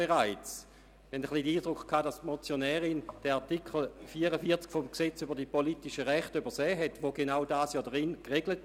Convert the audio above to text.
Wir hatten den Eindruck, die Motionärin habe den Artikel 44 PRG übersehen, welcher genau dies regelt.